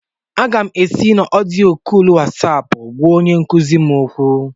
Aga m ési na odiyo kóólu Wasáápu gwá onye nkuzi m okwu